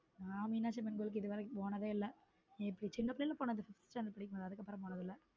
நான் மீனாட்சி அம்மன் கோயிலுக்கு இதுவரைக்கும் போனதே இல்லை சின்ன பிள்ளைல போனது fifth standared படிக்கும் போது அதுக்கு அப்பரம் போனது இல்ல.